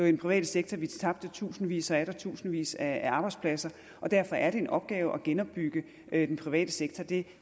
i den private sektor vi tabte tusindvis og atter tusindvis af arbejdspladser og derfor er det en opgave at genopbygge den private sektor det